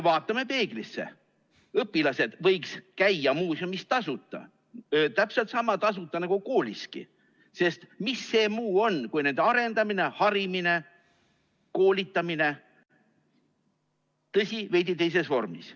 Vaatame peeglisse: õpilased võiks käia muuseumis tasuta, täpselt sama tasuta nagu kooliski, sest mis see muu on kui nende arendamine, harimine, koolitamine – tõsi, veidi teises vormis.